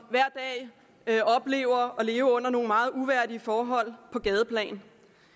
hver dag oplever at leve under nogle meget uværdige forhold på gadeplan